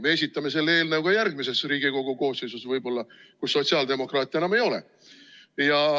Me esitame selle eelnõu ka järgmises Riigikogu koosseisus, kus võib-olla sotsiaaldemokraate enam ei ole.